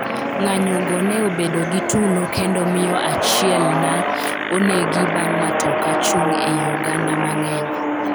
ng'anyo go ne obedo gi tulo kendo miyo achiel na onegi bang' matoka chung' ei oganda mang'eny